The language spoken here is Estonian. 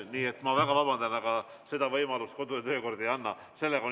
Nii et ma väga vabandan, aga seda võimalust kodu- ja töökord ei anna.